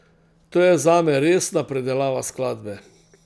To je zame resna predelava skladbe.